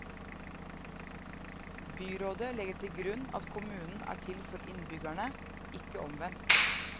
Byrådet legger til grunn at kommunen er til for innbyggerne, ikke omvendt.